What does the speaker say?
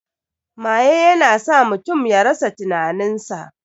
Maye ya na sa mutum ya rasa tinanin sa